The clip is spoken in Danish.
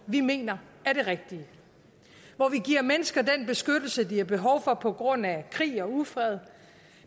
vi mener er det rigtige hvor vi giver mennesker den beskyttelse de har behov for på grund af krig og ufred